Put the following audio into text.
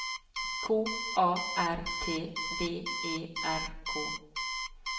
K A R T V E R K